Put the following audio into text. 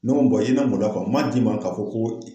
Ne ko bɔn i man n bonya kuwa n m'a d'i ma k'a fɔ ko